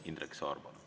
Indrek Saar, palun!